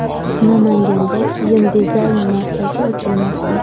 Namanganda kiyim dizayni markazi ochilmoqda.